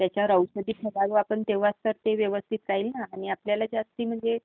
त्याच्यावर औषधं फवारू तेंव्हाच ते व्यवस्थित राहील ना आणि आपल्याला जास्त म्हणजे